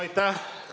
Aitäh!